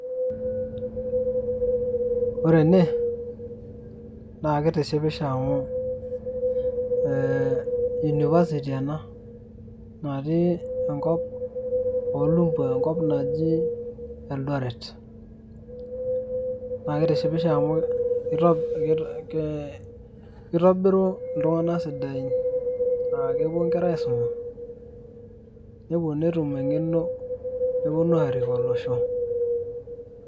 Ore ene, naa kitishipisho amu eeh University ena. Natii enkop olumbwa enkop naji Eldoret. Naa kitishipisho amu kitobiru iltung'anak sidain. Ah kepuo nkera aisuma, nepuo netum eng'eno neponu arik olosho.